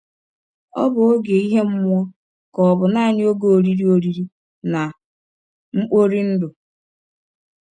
Ọ̀ bụ ọge ihe mmụọ, ka ọ̀ bụ nanị ọge oriri oriri na mkpori ndụ?